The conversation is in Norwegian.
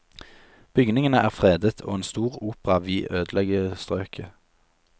Bygningene er fredet, og en stor opera vi ødelegge strøket.